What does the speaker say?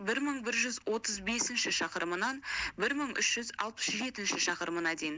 бір мың бір жүз отыз бесінші шақырымынан бір мың үш жүз алпыс жетінші шақырымына дейін